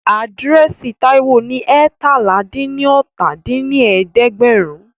Àdírẹ́sì Táíwò ní eétalá-dín-ní-ọ́ta dín ní ẹ̀ẹ́dẹ́gbẹ́rún